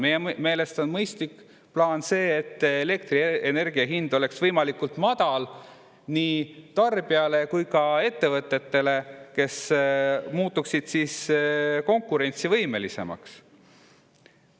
Meie meelest on mõistlik plaan see, et elektrienergia hind oleks võimalikult madal nii tarbijale kui ka ettevõtetele, kes muutuksid siis konkurentsivõimelisemaks.